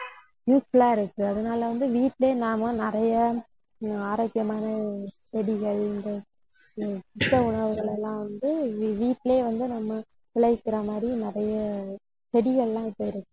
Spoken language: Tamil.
useful ஆ இருக்கு. அதனால வந்து, வீட்டிலயே நாம நிறைய ஆரோக்கியமான செடிகள் இந்த உணவுகளை எல்லாம் வந்து வீட்டிலேயே வந்து நம்ம விளைவிக்கிற மாதிரி நிறைய செடிகள் எல்லாம் இப்ப இரு~